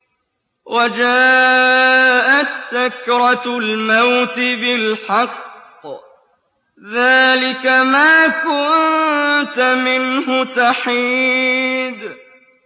وَجَاءَتْ سَكْرَةُ الْمَوْتِ بِالْحَقِّ ۖ ذَٰلِكَ مَا كُنتَ مِنْهُ تَحِيدُ